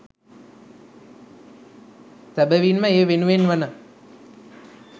සැබැවින්ම ඒ වෙනුවෙන් වන